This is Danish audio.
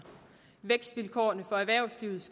vækstvilkårene for erhvervslivet